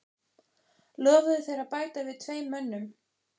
Lofuðu þeir að bæta við tveim mönnum.